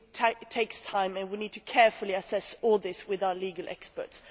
It takes time and we need to carefully assess all this with our legal experts.